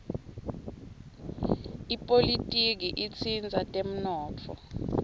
ipolitiki itsindza temnotfo